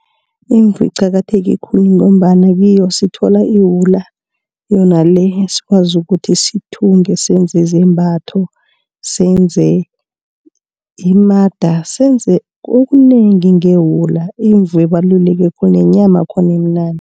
Imvu iqakatheke khulu ngombana kiyo sithola iwula. Yona le esikwazi ukuthi sithunge senze zembatho, senze imada senze okukunengi ngewula. Imvu ibaluleke khulu nenyama yakhona imnandi.